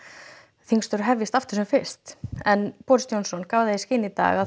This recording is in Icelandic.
þingstörf hefjist aftur sem fyrst en Boris Johnson gaf það í skyn í dag að